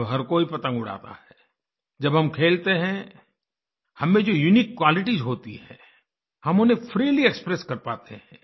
जब हर कोई पतंग उड़ाता है जब हम खेलते हैं हम में जो यूनिक क्वालिटीज होती हैं हम उन्हें फ्रीली एक्सप्रेस कर पाते हैं